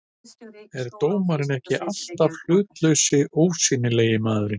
er dómarinn ekki alltaf hlutlausi, ósýnilegi maðurinn?